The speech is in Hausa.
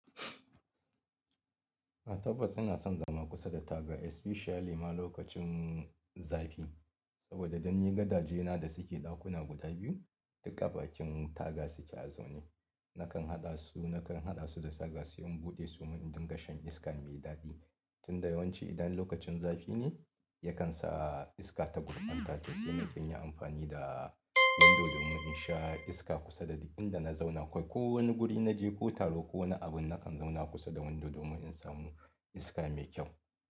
Eh tabbas ina son zama kusa da taga especially ma lokacin zafi. Saboda dan ni gadaje na da suke ɗakuna guda biyu duk a bakin taga suke a zaune. Nakan haɗa su, nakan haɗa su da saga suyi in buɗe su mun in dinga shan iska mai daɗi. Tun da yawanci idan lokacin zafi ne yakan sa iska ta burƙanta to sai na fi yin amfani da wundo domin in sha iska kusa da duk inda na zauna. Kwa ko wani guri naje ko taro ko wani abun nakan zauna kusa da wundo domin in samu iska mai kyau.